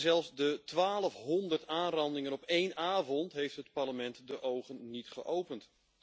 Zelfs de 1200 aanrandingen op één avond heeft het Parlement de ogen niet geopend.